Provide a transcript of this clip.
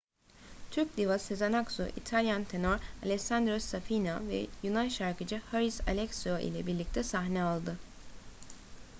türk diva sezen aksu i̇talyan tenor alessandro safina ve yunan şarkıcı haris alexiou ile birlikte sahne aldı